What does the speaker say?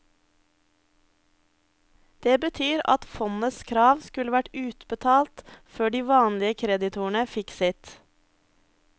Det betyr at fondets krav skulle vært utbetalt før de vanlige kreditorene fikk sitt.